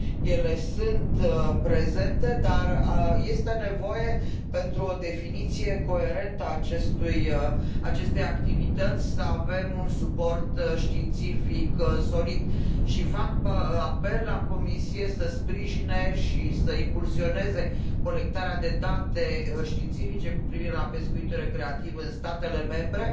Ele sunt prezente, dar este nevoie, pentru o definiție coerentă a acestei activități, să avem un suport științific solid. Și fac apel la Comisie să sprijine și să impulsioneze colectarea de date științifice cu privire la pescuitul recreativ în statele membre